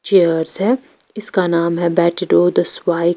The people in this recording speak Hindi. चेयर्स है इसका नाम है बेटी डो द स्वाई।